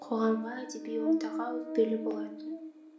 қоғамға әдеби ортаға өкпелі болатын